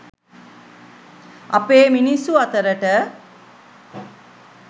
අපේ මිනිස්සු අතරට.